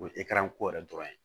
O ye ko yɛrɛ dɔrɔn ye